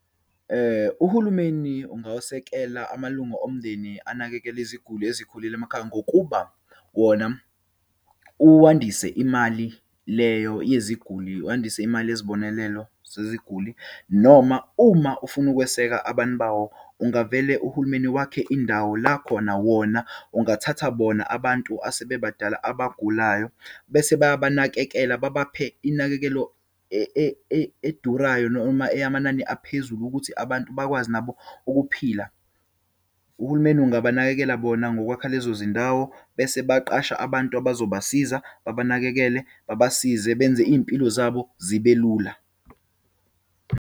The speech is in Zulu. Uhulumeni ungawasekela amalunga omndeni anakekela iziguli ezikhulile emakhaya. Ngokuba wona uwandise imali leyo yeziguli, uwandise imali yezibonelelo zeziguli. Noma uma ufuna ukweseka abantu bawo, ungavele uhulumeni, wakhe indawo la khona wona ungathatha bona abantu asebebadala abagulayo, bese bayabanakekele, babaphe inakekelo edurayo, noma eyamanani aphezulu, ukuthi abantu bakwazi nabo ukuphila. Uhulumeni angabanakekela bona ngokwakha lezo zindawo, bese baqasha abantu abazobasiza babanakekele. Babasize, benze iyimpilo zabo zibe lula.